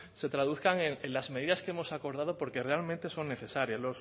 se traduzcan en las medidas que hemos acordado porque realmente son necesarias